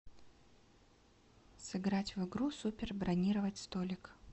сыграть в игру супер бронировать столик